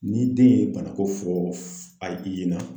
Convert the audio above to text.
Ni den ye banako fɔ a i ɲɛna